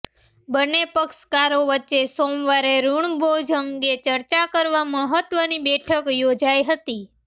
બંને પક્ષકારો વચ્ચે સોમવારે ઋણબોજ અંગે ચર્ચા કરવા મહત્ત્વની બેઠક યોજાઈ હતી